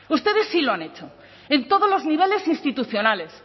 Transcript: ustedes sí lo han hecho en todos los niveles institucionales